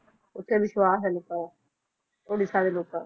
ਉੱਥੇ ਵਿਸਵਾਸ਼ ਹੈ ਲੋਕਾਂ ਦਾ, ਉੜੀਸਾ ਦੇ ਲੋਕਾਂ